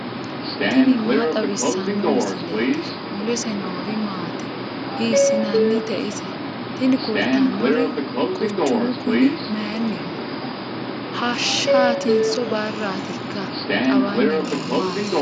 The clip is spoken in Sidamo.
tini maa xawissanno misileeti ? mulese noori maati ? hiissinannite ise ? tini kultannori quchumu kuni mayinniho hashshaaatinso barraatika xawanni noohu maati